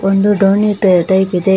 ಒಂದು ಧೋನಿ ಟೈ ಟೈಪ್ ಇದೆ.